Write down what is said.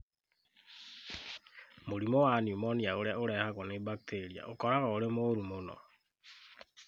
Mũrimũ wa pneumonia ũrĩa ũrehagwo nĩ bakteria ũkoragwo ũrĩ mũũru mũno